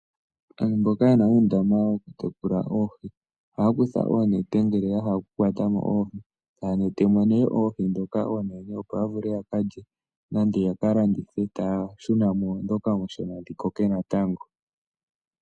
Aantu mboka yena oondama dhoku tekula oohi, ohaya kutha oonete ngele ya hala oku kwatamo oohi, taya yulu mo nee oohi ndhoka oonene opo, ya vule ya kalye nenge ya kalandithe, taya shunamo ndhoka oonshona dhi koke natango.